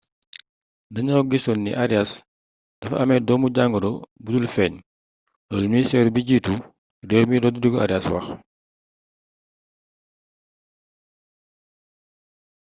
dañoo gisoon ni arias dafa amé doomu-jangoro budul feeñ loolu ministëru bjiitu réew mi rodrigo arias wax